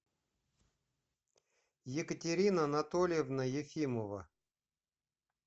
екатерина анатольевна ефимова